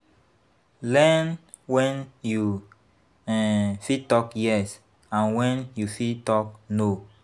Learn when you um fit talk yes and when you fit talk no